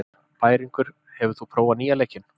Bæringur, hefur þú prófað nýja leikinn?